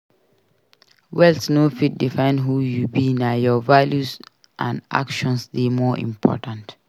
Wealth no fit define who you be na your values and actions dey more important.